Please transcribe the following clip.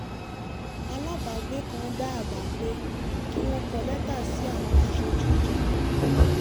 alábàágbé kan dá àbá pé kí wọ́n kọ lẹ́tà sí àwọn aṣojú ìjọba